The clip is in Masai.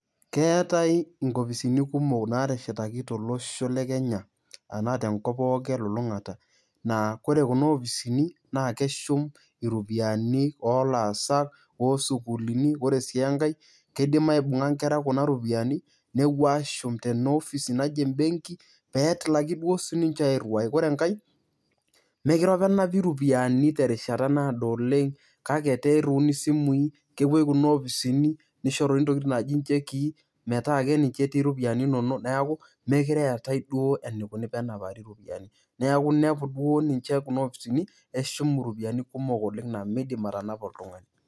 Keetai inkopisi kumok naateshetaki tolosho le Kenya enaa tenkop pookin te lulung'ata naa kore Kuna opisini naa keshum iropiani olaasak, osukuuluni. Ore sii enkae kidim aibung'a nkera Kuna ropiani nepuo ashum tena ofisi naji embenki pee etilaki duo sininje airiwai. Ore enkae mekure apa enapi iropiani terishata naado oleng' kake etaa iriuni isimui kepuo Kuna opisini nishoruni ntokitin naaji nchekii metaa keninje etii iropiani inonok neeku mekure eetai duo enikuni pee enapari iropiani. Neeku inepu duo ninje Kuna opisini neshum iropiani kumok oleng' nemidim atanapa oltung'ani.